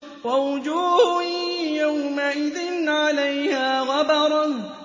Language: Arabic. وَوُجُوهٌ يَوْمَئِذٍ عَلَيْهَا غَبَرَةٌ